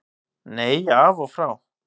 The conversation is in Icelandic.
Nei, af og frá.